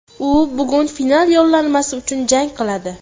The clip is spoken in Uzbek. U bugun final yo‘llanmasi uchun jang qiladi.